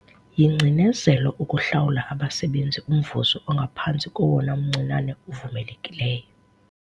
Yingcinezelo ukuhlawula abasebenzi umvuzo ongaphantsi kowona mncinane uvumelekileyo.